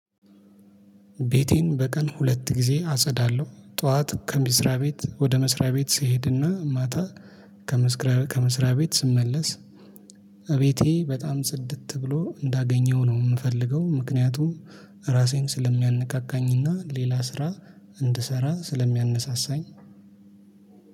ቤቴን በቀን ሁለት ጊዜ አጸዳለሁ ጠዋት ከምስራቤት ወደ መስሪያ ቤት ስሄድና ማታ ከመስሪያ ቤት ስመለስ እቤቴ በጣም ጽድት ብሎ እንዳገኘው ነው የምፈልገው። ምክንያቱም ራሴን ስለሚያነቃቃኝና ሌላ ስራ እንድሰራ ስለሚያነሳሳኝ።